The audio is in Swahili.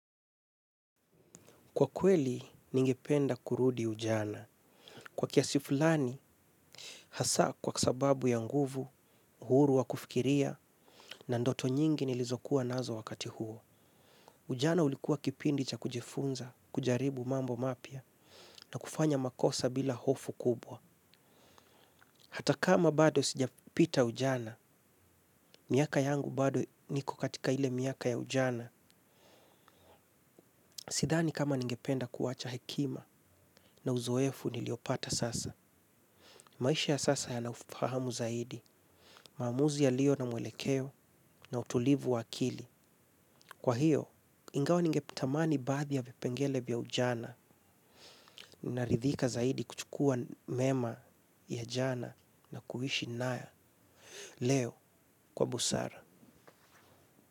Kwa kweli, ningependa kurudi ujana. Kwa kiasi fulani, hasa kwa sababu ya nguvu, uhuru wa kufikiria na ndoto nyingi nilizokuwa nazo wakati huo. Ujana ulikuwa kipindi cha kujifunza, kujaribu mambo mapya na kufanya makosa bila hofu kubwa. Hata kama bado sijapita ujana, miaka yangu bado niko katika ile miaka ya ujana, sidhani kama ningependa kuwacha hekima na uzoefu niliopata sasa. Maisha ya sasa yana ufahamu zaidi, maamuzi yalio na mwelekeo na utulivu wa akili. Kwa hiyo, ingawa ningetamani baadhi ya vipengele vya ujana, naridhika zaidi kuchukua mema ya jana na kuishi nayo. Leo, kwa busara.